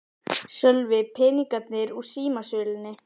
Sölvi: Peningarnir úr símasölunni?